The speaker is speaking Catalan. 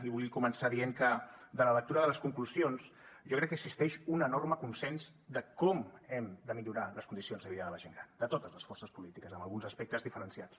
i vull començar dient que de la lectura de les conclusions jo crec que existeix un enorme consens de com hem de millorar les condicions de vida de la gent gran de totes les forces polítiques amb alguns aspectes diferenciats